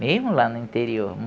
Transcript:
Mesmo lá no interior.